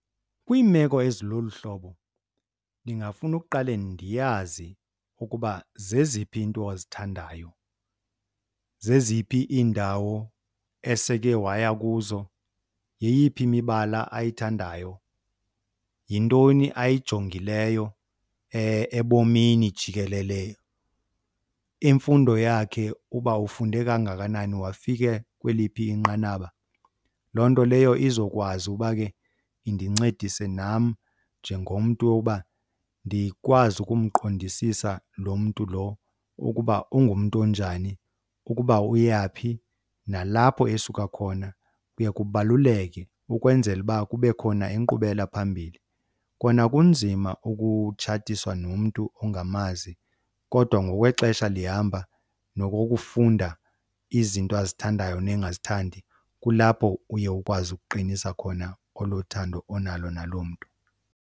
Kwiimeko ezilolu hlobo ndingafuna uqale ndiyazi ukuba zeziphi iinto azithandayo, zeziphi iindawo eseke waya kuzo, yeyiphi imibala ayithandayo, yintoni ayijongileyo ebomini jikelele, imfundo yakhe uba ufunde kangakanani wafika kweliphi inqanaba. Loo nto leyo izokwazi uba ke indincedise nam njengomntu woba ndikwazi ukumqondisisa lo mntu lo ukuba ungumntu onjani, ukuba uyaphi, nalapho esuka khona kuye kubaluleke ukwenzela uba kube khona inkqubela phambili. Kona kunzima ukutshatiswa nomntu ongamazi kodwa ngokwexesha lihamba nokokufunda izinto azithandayo nengazithandi kulapho uye ukwazi ukuqinisa khona olo thando onalo naloo mntu.